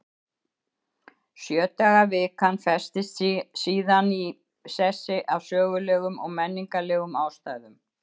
Sjö daga vikan festist síðan í sessi af sögulegum og menningarlegum ástæðum.